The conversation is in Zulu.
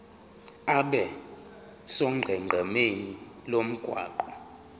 abe sonqenqemeni lomgwaqo